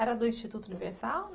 Era do Instituto Universal?